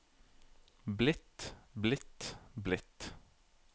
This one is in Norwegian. blitt blitt blitt